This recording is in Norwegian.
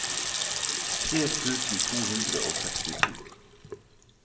tre tusen to hundre og sekstito